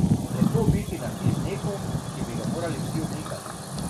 Lepo biti na ti z nekom, ki bi ga morali vsi onikati.